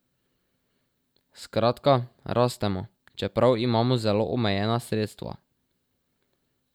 Skratka, rastemo, čeprav imamo zelo omejena sredstva.